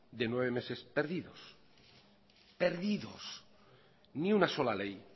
de nueve meses perdidos ni una sola ley